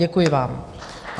Děkuji vám.